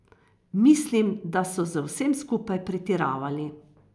Mislim, da so z vsem skupaj pretiravali.